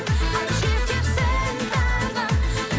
ай жетерсің тағы